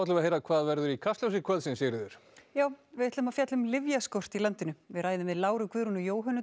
við heyra hvað verður í Kastljósi kvöldsins Sigríður já við ætlum að fjalla um lyfjaskort í landinu við ræðum við Láru Guðrúnu